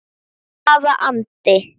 Hvaða andi?